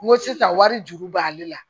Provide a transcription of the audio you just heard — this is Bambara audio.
N ko sisan wari juru b'ale la